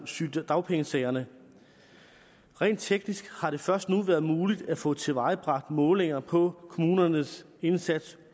sygedagpengesagerne rent teknisk har det først nu været muligt at få tilvejebragt målinger på kommunernes indsats